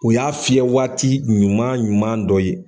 O y'a fiyɛ waati ɲuman ɲuman dɔ ye.